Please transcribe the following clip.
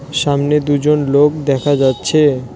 সামনে দুজন লোক দেখা যাচ্ছে।